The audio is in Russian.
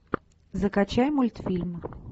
закачай мультфильм